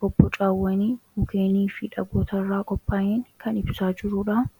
bobbocawwanii, mukkeenii fi dhagoota irraa qophaa'een kan ibsaa jiruudha.